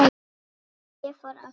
Svo ég fór aftur heim.